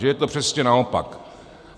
Že je to přesně naopak.